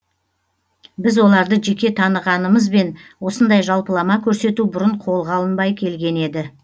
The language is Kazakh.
біз оларды жеке танығанымызбен осындай жалпылама көрсету бұрын қолға алынбай келген еді